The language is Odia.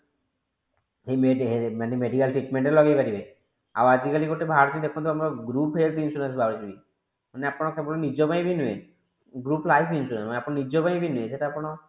ମାନେ medical treatment ରେ ଲଗେଇ ପାରିବ ଆଉ ଆଜି କାଲି ଗୋଟେ ବାହାରିଛି ଦେଖନ୍ତୁ ଆପଣ group health insurance ବାହାରୁଛି ମାନେ ଆପଣ କେବଳ ନିଜ ପାଇଁ ବି ନୁହେଁ group life insurance ସେଟା ଆପଣଙ୍କ ଆପଣ ନିଜ ପାଇଁ ବି ନୁହେଁ।